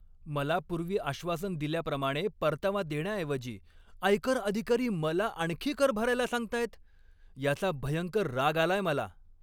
मला पूर्वी आश्वासन दिल्याप्रमाणे परतावा देण्याऐवजी आयकर अधिकारी मला आणखी कर भरायला सांगताहेत याचा भयंकर राग आलाय मला.